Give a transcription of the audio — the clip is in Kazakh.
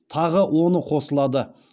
тағы оны қосылады